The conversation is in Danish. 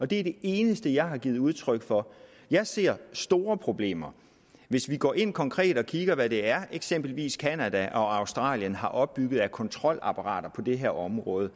det er det eneste jeg har givet udtryk for jeg ser store problemer hvis vi går ind konkret og kigger på hvad det er eksempelvis canada og australien har opbygget af kontrolapparater på det her område